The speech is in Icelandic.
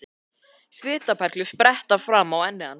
Svitaperlur spretta fram á enni hans.